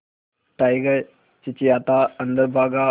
tiger चिंचिंयाता अंदर भागा